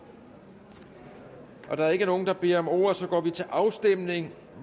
da der ikke er nogen der beder om ordet går vi til afstemning